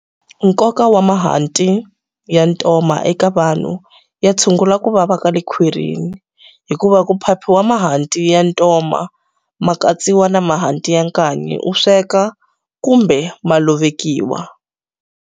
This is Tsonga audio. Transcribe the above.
Nkoka wa mahanti ya ntoma eka vanhu ya tshungula ku vava kale khwirini hikuva ku phaphiwa mahanti ya ntoma ma katsiwa na mahanti ya nkanyi u sweka kumbe ma lovekiwa.